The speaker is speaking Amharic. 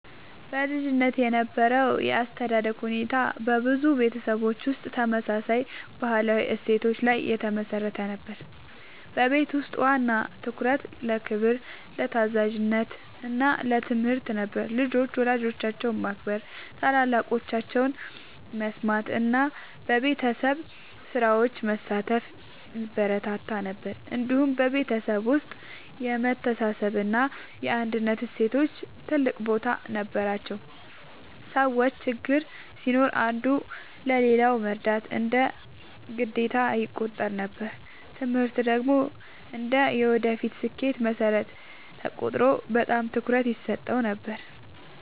በልጅነት የነበረው የአስተዳደግ ሁኔታ በብዙ ቤተሰቦች ውስጥ ተመሳሳይ ባህላዊ እሴቶች ላይ የተመሠረተ ነበር። በቤት ውስጥ ዋና ትኩረት ለክብር፣ ለታዛዥነት እና ለትምህርት ነበር። ልጆች ወላጆቻቸውን ማክበር፣ ታላላቆቻቸውን መስማት እና በቤተሰብ ስራዎች መሳተፍ ይበረታታ ነበር። እንዲሁም በቤተሰብ ውስጥ የመተሳሰብ እና የአንድነት እሴቶች ትልቅ ቦታ ነበራቸው። ሰዎች ችግር ሲኖር አንዱ ለሌላው መርዳት እንደ ግዴታ ይቆጠር ነበር። ትምህርት ደግሞ እንደ የወደፊት ስኬት መሠረት ተቆጥሮ በጣም ትኩረት ይሰጠው ነበር።